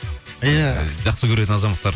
иә жақсы көретін азаматтар